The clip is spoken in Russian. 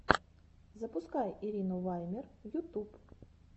запускай ирину ваймер ютуб